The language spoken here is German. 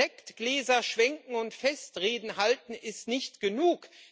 Sektgläser schwenken und Festreden halten ist nicht genug.